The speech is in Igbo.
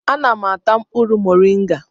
Ana m ata mkpụrụ moringa